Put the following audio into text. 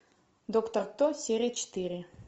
доктор кто серия четыре